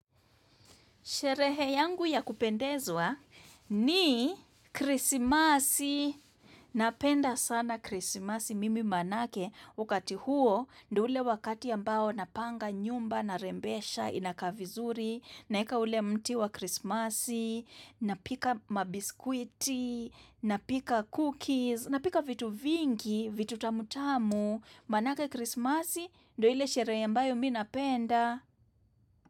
Sherehe yangu ya kupendezwa ni krisimasi. Napenda sana krisimasi mimi manake wakati huo. Ndo ule wakati ambao napanga nyumba, narembesha, inakaa vizuri. Naeka ule mti wa krisimasi. Napika mabiskwiti, napika cookies, napika vitu vingi, vitu tamutamu. Manake krisimasi, ndo ile sherehe ambayo mimi napenda.